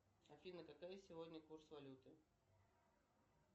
афина какой сегодня курс валюты